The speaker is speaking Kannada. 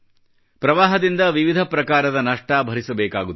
ಪ್ರವಾಹದಿಂದ ವಿವಿಧ ಪ್ರಕಾರದ ನಷ್ಟ ಭರಿಸಬೇಕಾಗುತ್ತದೆ